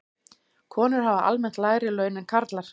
Konur hafa almennt lægri laun en karlar.